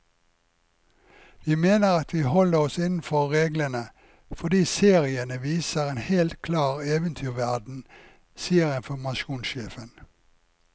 Vi mener at vi holder oss innenfor reglene, fordi seriene viser en helt klar eventyrverden, sier informasjonssjefen.